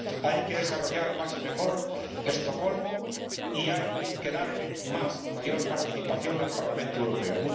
Hay que desarrollar más y mejor Estocolmo y hay que dar más y mayor participación al Parlamento Europeo.